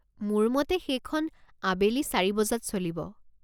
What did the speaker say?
মোৰ মতে সেইখন আবেলি চাৰি বজাত চলিব।